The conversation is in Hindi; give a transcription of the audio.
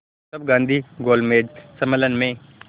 तब गांधी गोलमेज सम्मेलन में